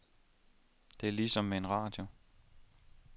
Det er ligesom med en radio.